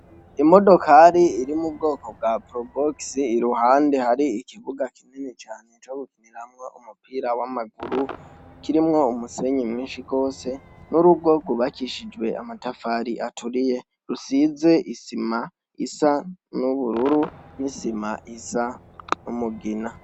Imodokari iri mubwoko bwa probosi iruhande hari ikibuga kinini cane cogukiniraho umupira wamaguru kirimwo umusenyi mwinshi gose nurugo gubakishijwe amatafari aturiye rusize isima isa nubururu nisima isa numugina